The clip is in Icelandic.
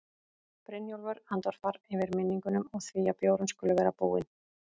Brynjólfur andvarpar, yfir minningunum og því að bjórinn skuli vera búinn.